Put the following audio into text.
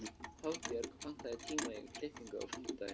Hafbjörg, pantaðu tíma í klippingu á fimmtudaginn.